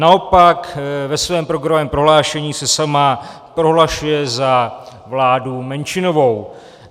Naopak ve svém programovém prohlášení se sama prohlašuje za vládu menšinovou.